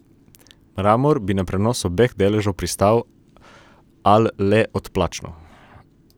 Mramor bi na prenos obeh deležev pristal, al le odplačno.